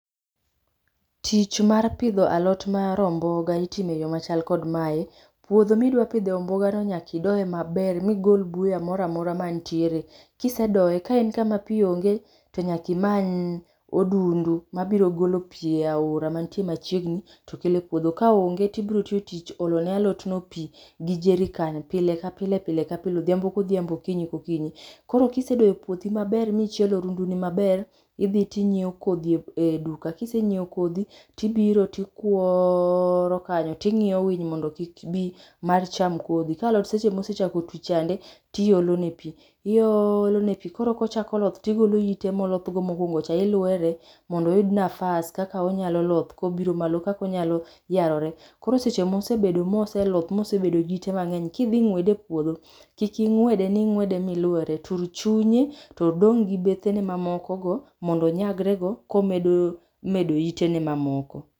Tich mar pidho alot mar omboga itimo e yoo machal kod mae. Puodho midwa pidhe omboga no nyaka idoye maber migol buya moro amora mantiere. Kisedoye kaen kama pii onge to nyaka imany odundu mabiro golo pii e aora mantie machiegni to kelo e puodho, ka onge tibiro tiyo tich olo ne alot no pii gi jerrican pile ka pile, pile ka pile, odhiambo kodhiambo, okinyi ka okinyi. Koro kisedoyo puothi michielo odunduni maber, idhi tinyiew kodhi e duka, kisenyiew kodhi tibiro tikuoro kanyo tingiyo winy mondo kik bi mar cham kodhi. Ka alot sama osechako tuch chande tiolo ne pii, iolo ne pii. koro kochako loth tigolo ite moloth go mokuongo, ilwere mondo oyud go nafas kaka onyalo loth kobiro malo, kaka onyalo yarore. Koro seche mosebedo ma oseloth mosebedo gi ite mangeny, kidhi ngwede e puodho, kik ingwede ni ingwede milwere, tur chunye to odong gi bethene mamoko go mondo onyagre go komedo medo itene mamoko